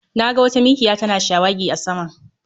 Na ga wata mikiya tana shawagi a sama